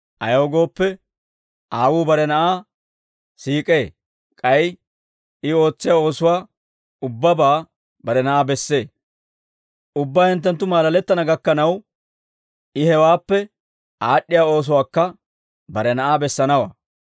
Ayaw gooppe, Aawuu bare Na'aa siik'ee; k'ay I ootsiyaa oosuwaa ubbabaa bare Na'aa bessee. Ubbaa hinttenttu maalalettana gakkanaw, I hawaappe aad'd'iyaa oosuwaakka bare Na'aa bessanawaa.